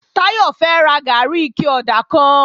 Táyọ̀ fẹ́ ra gàárì ike ọ̀dà kan